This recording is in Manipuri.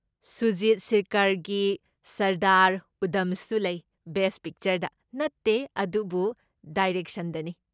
ꯁꯨꯖꯤꯠ ꯁꯤꯔꯀꯔꯒꯤ ꯁꯔꯗꯥꯔ ꯎꯙꯝꯁꯨ ꯂꯩ, ꯕꯦꯁ꯭ꯠ ꯄꯤꯛꯆꯔꯗ ꯅꯠꯇꯦ ꯑꯗꯨꯕꯨ ꯗꯥꯏꯔꯦꯛꯁꯟꯗꯅꯤ꯫